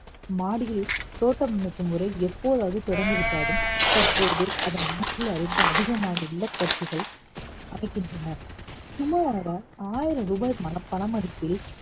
மாடியில் தோட்டம் அமைக்கும் முறை எப்போதாவது தொடங்கி விட்டாலும் தற்போது அதை வீட்ல இருந்து அதிகமாக இல்லத்தரசிகள் அமைக்கின்றன. சுமாராக ஆயிரம் ரூபாய் பண மதிப்பில்